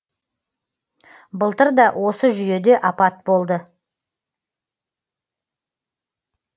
былтыр да осы жүйеде апат болды